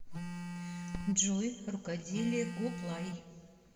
джой рукоделие гоплай